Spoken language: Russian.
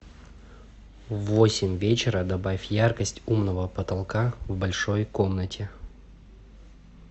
в восемь вечера добавь яркость умного потолка в большой комнате